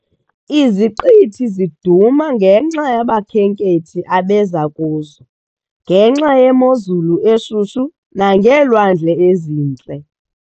Iziqithi ziduma ngenxa yabakhenkethi abeza kuzo, ngenxa yemozulu eshushu nangeelwandle ezintle.